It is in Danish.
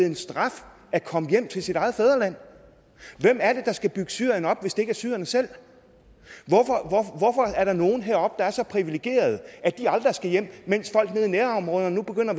en straf at komme hjem til sit eget fædreland hvem er det der skal bygge syrien op hvis det ikke er syrerne selv hvorfor er der nogen heroppe der er så privilegerede at de aldrig skal hjem mens folk nede i nærområderne nu begynder